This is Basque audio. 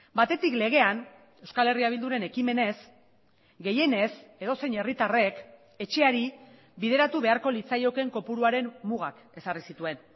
batetik legean euskal herria bilduren ekimenez gehienez edozein herritarrek etxeari bideratu beharko litzaioken kopuruaren mugak ezarri zituen